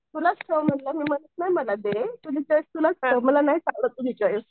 तुलाच ठेव म्हणलं मी म्हणत नाही मला दे तुझी चॉईस तुलाच ठेव मला नाही आवडत तुझी चॉईस.